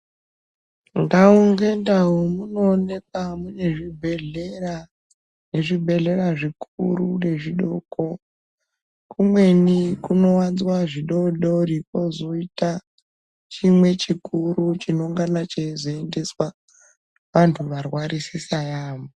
Ndau ngendau munoonekwa mune zvibhedhlera, nezvibhehlera zvikuru nezvidoko kumweni kunowanzwa zvidodori kwozoita chimwe chikuru chinongana cheizoendeswa vantu varwarisisa yaamho.